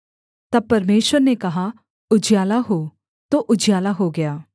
तब परमेश्वर ने कहा उजियाला हो तो उजियाला हो गया